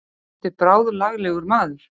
Þetta er bráðlaglegur maður.